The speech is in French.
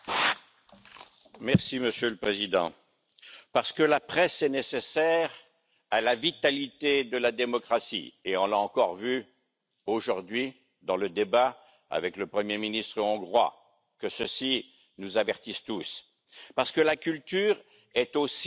Monsieur le Président, parce que la presse est nécessaire à la vitalité de la démocratie et on l'a encore vu aujourd'hui dans le débat avec le Premier ministre hongrois que ceci nous avertisse tous parce que la culture est aussi une économie